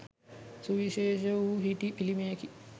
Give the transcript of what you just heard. සුවිශේෂ වූ හිටි පිළිමයකි.